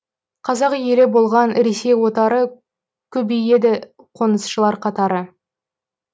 қазақ елі болған ресей отары көбейеді қонысшылар қатары